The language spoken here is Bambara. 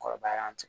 Kɔrɔbayara an fɛ